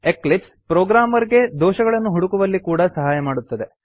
Eclipse programmer ಗೆ ದೋಷಗಳನ್ನು ಹುಡುಕುವಲ್ಲಿ ಕೂಡಾ ಸಹಾಯ ಮಾಡುತ್ತದೆ